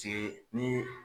Tun ye ni